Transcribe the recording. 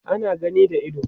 ana gani da ido